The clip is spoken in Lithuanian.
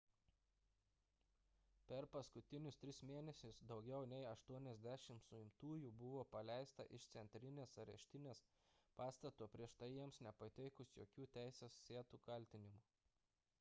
per paskutinius tris mėnesius daugiau nei 80 sumtųjų buvo paleista iš centrinės areštinės pastato prieš tai jiems nepateikus jokių teisėtų kaltinimų